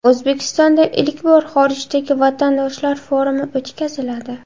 O‘zbekistonda ilk bor xorijdagi vatandoshlar forumi o‘tkaziladi.